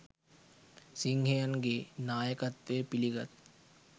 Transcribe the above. සිංහයන් ගේ නායකත්වය පිලිගත්